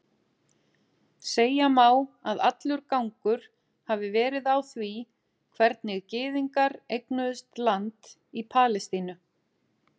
Segja má að allur gangur hafi verið á því hvernig gyðingar eignuðust land í Palestínu.